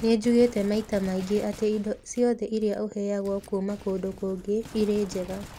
"Nĩ njugĩte maita maingĩ atĩ ti indo ciothe iria ũheagwo kuuma kũndũ kũngĩ irĩ njega.